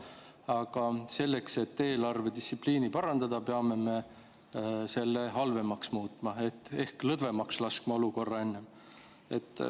Aga selleks, et eelarvedistsipliini parandada, peame me selle halvemaks muutma ehk laskma olukorra lõdvemaks.